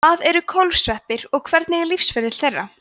hvað eru kólfsveppir og hvernig er lífsferill þeirra